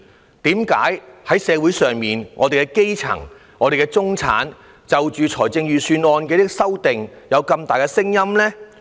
為甚麼在社會上，基層和中產就着預算案的修訂有這麼多的聲音呢？